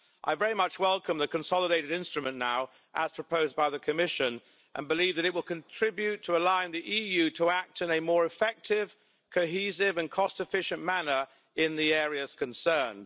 I very much welcome the consolidated instrument now as proposed by the Commission and believe that it will contribute to allowing the EU to act in a more effective, cohesive and cost efficient manner in the areas concerned.